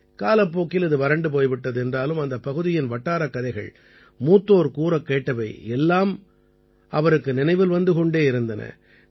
காலப்போக்கில் இது வறண்டு போய் விட்டது என்றாலும் அந்தப்பகுதியின் வட்டாரக் கதைகள் மூத்தோர் கூறக் கேட்டவை எல்லாம் அவருக்கு நினைவில் வந்து கொண்டே இருந்தன